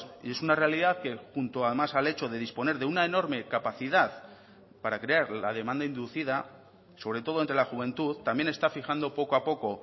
y es una realidad que junto además al hecho de disponer de una enorme capacidad para crear la demanda inducida sobre todo entre la juventud también está fijando poco a poco